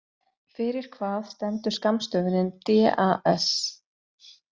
Fyrir hvað stendur skammstöfunin DAS?